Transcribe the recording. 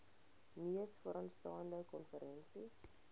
mees vooraanstaande konferensie